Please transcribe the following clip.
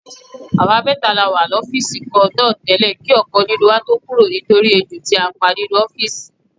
Àwa mẹ́ta la wà lọ́fíìsì kan náà tẹ́lẹ̀ kí ọ̀kan nínú tó kúrò nítorí ejò tí a pa nínú ọ́fíìsì.